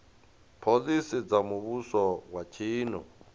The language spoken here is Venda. phoḽisi dza muvhuso wa tshino